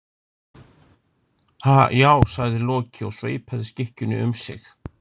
Ha, já, sagði Loki og sveipaði skikkjunni um sig.